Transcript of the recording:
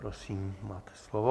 Prosím, máte slovo.